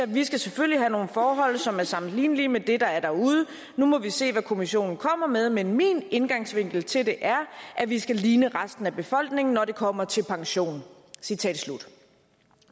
vi skal selvfølgelig have nogle forhold som er sammenlignelige med det der er derude nu må vi se hvad kommissionen kommer med men min indgangsvinkel til det er at vi skal ligne resten af befolkningen når det kommer til pension citat slut